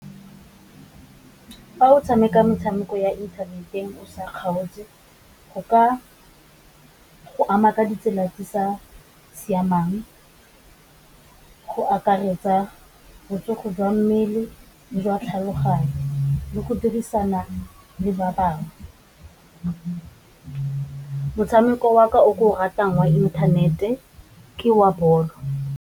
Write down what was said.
Fa o tshameka metshameko ya inthaneteng o sa kgaotse go ka go ama ka ditsela di sa siamang, go akaretsa botsogo jwa mmele le jwa tlhaloganyo le go dirisana le ba bangwe. Motshameko wa ka o ke o ratang wa inthanete ke wa bolo.